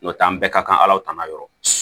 N'o tɛ an bɛɛ ka kan ala tana yɔrɔ